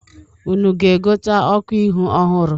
Unu ga-egote ọkụ ihu ọhụrụ?